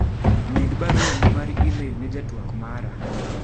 med barua ni mar email ne jatwak mara